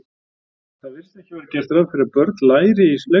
Það virðist ekki vera gert ráð fyrir að börn læri í leikskólum.